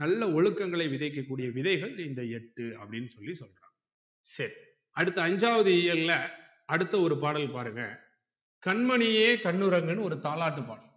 நல்ல ஒழுக்கங்களை விதைக்க கூடிய விதைல் இந்த எட்டு அப்டின்னு சொல்லி சொல்றாங்க சரி அடுத்து ஐஞ்சாவது இயல்ல அடுத்து ஒரு பாடல் பாருங்க கண்மணியே கண்ணுறங்கு ஒரு தாலாட்டு பாட்டு